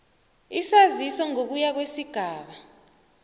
isaziso ngokuya kwesigaba